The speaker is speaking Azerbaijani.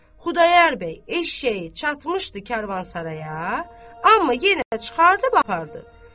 Xudayar bəy eşşəyi çatmışdı karvansaraya, amma yenə çıxardıb apardı.